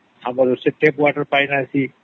ଆମର ସେ ପାଣି ଆସିଛି